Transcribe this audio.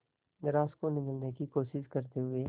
grass को निगलने की कोशिश करते हुए